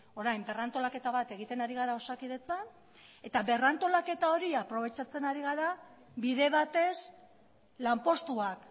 orain berrantolaketa bat egiten ari gara osakidetzan eta berrantolaketa hori aprobetxatzen ari gara bide batez lanpostuak